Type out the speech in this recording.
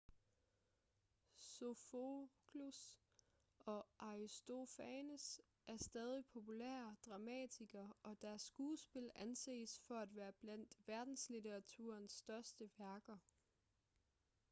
sofokles og aristofanes er stadig populære dramatikere og deres skuespil anses for at være blandt verdenslitteraturens største værker